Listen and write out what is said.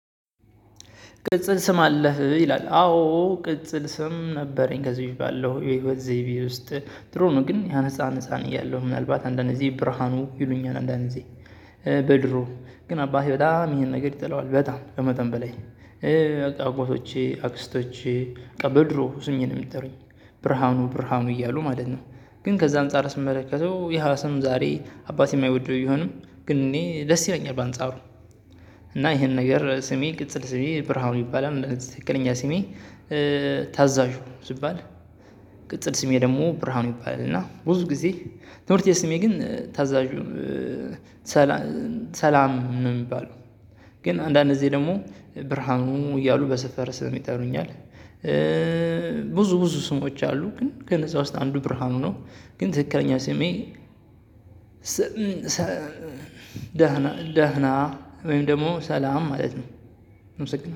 ቅጽል ስም አለህ ይላል አዎ ቅጽል ስም ነበረኝ ከዚህ ባለው የህይወት ዘይቤ ውስጥ ጥሩ ነው። ግን ህፃን ህፃን እያለሁ ምናልባት አንዳንድ እዚህ ብርሃኑ ይሉኛል አንዳንድ እዚህ በድሮ ግን አባቴ በጣም ይሄን ነገር ይጠለዋል በጣም ከመጠን በላይ። አጎቶቼ አክስቶቼ በቃ በድሮ ህፃን የሚጠሩኝ ብርሃኑ ብርሃኑ እያሉ ማለት ነው። ግን ከዛ አንፃር ስመለከተው ያሃ ሰም ዛሬ አባቴ የማይወደው ቢሆንም ግን እኔ ደስ ይለኛል። በአንጻሩ እና ይሄንን ነገር ስሜ ቅጽል ስሜ ብርሃኑ ይባላል። ትክክለኛ ስሜ። ታዛዡ ስባል። ቅጽል ስሜ ደግሞ ብርሃኑ ይባላል። እና ብዙ ጊዜ ትምህርት ቤት ስሜ ግን ታዛዡ። ሰላም እምባለው። ግን አንዳንድ ጊዜ ደግሞ ብርሃኑ እያሉ በሰፈር ስም ይጠሩኛል። ብዙ ብዙ ስሞች አሉ ግን ከነዛ ውስጥ አንዱ ብርሃኑ ነው። ግን ትክክለኛ ስሜ። ደህና ደህና ወይም ደግሞ ሰላም ማለት ነው።